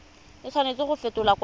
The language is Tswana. a tshwanela go fetolwa kwa